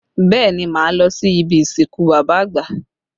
Bẹẹ ni, máa lọ sí ibi ìsìnkú bàbá àgbà